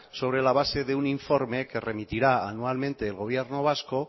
sobre la base de un informe que remitirá anualmente el gobierno vasco